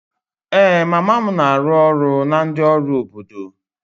Ee, mama m na-arụ ọrụ na ndị ọrụ obodo.